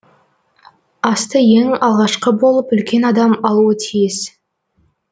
асты ең алғашқы болып үлкен адам алуы тиіс